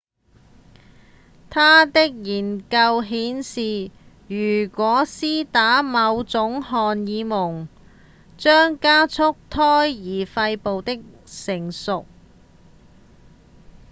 他的研究顯示如果施打某種荷爾蒙將加速胎兒肺部的成熟